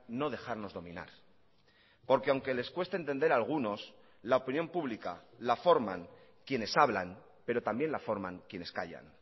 no dejarnos dominar porque aunque les cueste entender a algunos la opinión pública la forman quienes hablan pero también la forman quienes callan